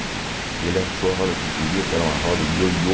E ele achou a roda que eu queria, que era uma roda yoyo.